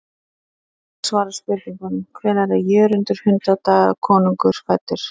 Hér er einnig svarað spurningunum: Hvenær er Jörundur hundadagakonungur fæddur?